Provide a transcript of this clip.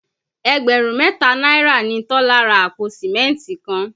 Ẹgbẹ̀rún mẹ́ta náírà ni Tọ́lá ra àpò Sìmẹ́ntì kan